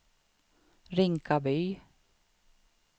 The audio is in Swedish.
Rinkaby